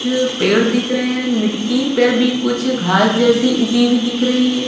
पेड़ दिख रहे हैं मिट्टी पर भी कुछ घास जैसी उगी हुई दिख रही है।